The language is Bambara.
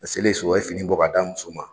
A selen so a ye fini bɔ k'a d'a muso ma.